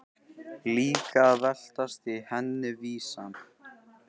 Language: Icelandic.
Líka að veltast í henni vísan.